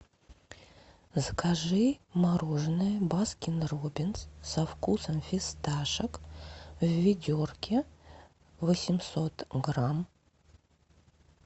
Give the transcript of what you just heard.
закажи мороженое баскин роббинс со вкусом фисташек в ведерке восемьсот грамм